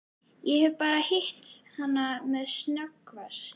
Ég hef bara hitt hana sem snöggvast.